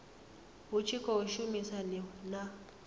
hu tshi khou shumisaniwa na